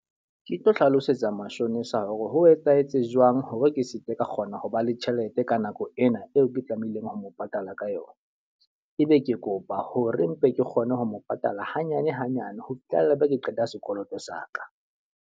Ke tlo hlalosetsa mashonisa hore ho etsahetse jwang hore ke seke ka kgona ho ba le tjhelete ka nako ena eo ke tlamehileng ho mo patala ka yona. E be ke kopa hore mpe ke kgone ho mo patala hanyane hanyane, ho fihlella e be ke qeta sekoloto sa ka.